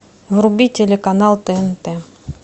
вруби телеканал тнт